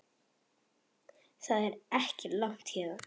Það er ekki langt héðan.